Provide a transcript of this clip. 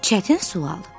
Çətin sual.